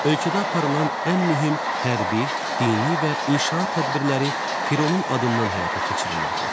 Ölkədə aparılan ən mühüm hərbi, dini və inşaat tədbirləri Fironun adından həyata keçirilirdi.